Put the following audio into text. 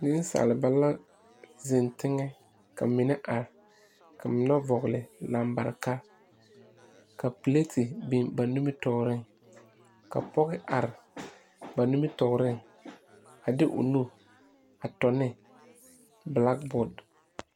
Nensaaleba la zeŋ teŋɛ ka mine are mine vɔgle lambareka ka pilete biŋ ba nimitɔɔreŋ ka pɔge are ba nimitɔɔreŋ a de o nu tɔne bilaboote.